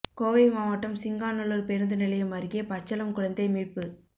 கோவை மாவட்டம் சிங்காநல்லூா் பேருந்து நிலையம் அருகே பச்சளம் குழந்தை மீட்பு